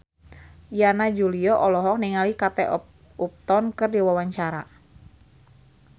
Yana Julio olohok ningali Kate Upton keur diwawancara